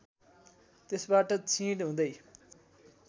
त्यसबाट क्षिण हुँदै